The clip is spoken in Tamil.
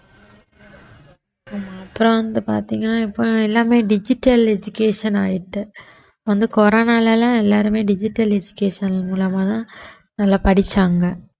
ஆமா அப்புறம் வந்து பார்த்தீங்கன்னா இப்போ எல்லாமே digital education ஆயிட்டு வந்து கொரோனால எல்லாம் எல்லாருமே digital education மூலமாதான் நல்லா படிச்சாங்க